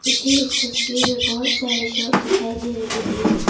मुझे इस तस्वीर में बहुत सारी शॉप दिखाई दे रही है।